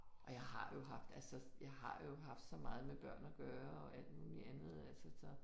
Og jeg har jo haft altså jeg har jo haft så meget med børn at gøre og alt muligt andet altså så